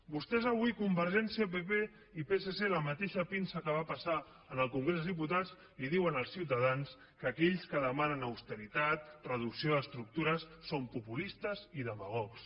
vostès avui convergència pp la mateixa pinça que va passar en el congrés dels diputats diuen als ciutadans que aquells que demanen austeritat reducció d’estructures són populistes i demagogs